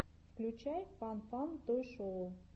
включай фан фан той шоу